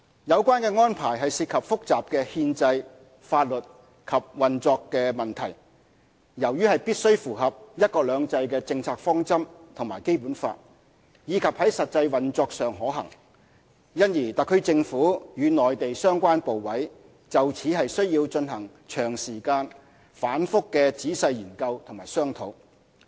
有關安排涉及複雜的憲制、法律及運作問題，由於必須符合"一國兩制"的政策方針和《基本法》，以及在實際運作上可行，因而特區政府與內地相關部委就此需進行長時間、反覆的仔細研究與商討。